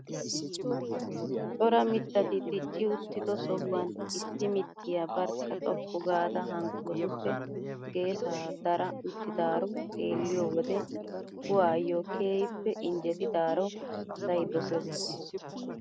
Cora mittati dicci uttido sohuwaan issi mittiyaa barkka xoqqu gaada hankkotuppe geessaa dara uttidaaro xeelliyoo wode kuwaayoo keehippe injettidaaro asay dosees!